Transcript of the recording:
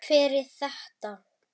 Hver er þetta?